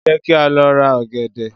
Jẹ́ kí á lọ ra ọ̀gẹ̀dẹ̀.